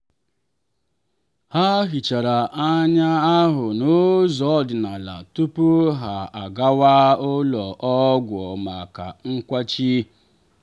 ha hichara ọnya ahụ n'ụzọ ọdịnala tupu ha agawa ụlọ ọgwụ maka nkwachi.